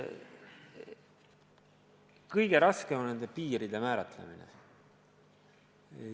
Kõige raskem on aga nende piiride määratlemine.